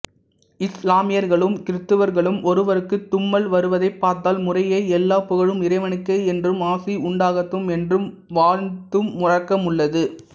இசுலாமியர்களும் கிறித்தவர்களும் ஒருவருக்குத் தும்மல் வருவதைப்பார்த்தால் முறையே எல்லாப் புகழும் இறைவனுக்கே என்றும் ஆசி உண்டாகட்டும் என்றும் வாழ்த்தும் வழக்கமுள்ளது